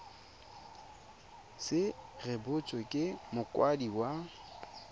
se rebotswe ke mokwadisi wa